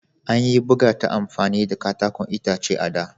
An yi buga ta amfani da katakon itace a da.